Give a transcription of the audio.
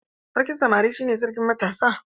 Sarkin samari shi ne sarkin matasa.